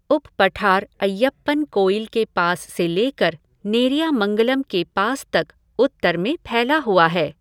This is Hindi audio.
उप पठार अय्यप्पनकोइल के पास से लेकर नेरियामंगलम के पास तक उत्तर में फैला हुआ है।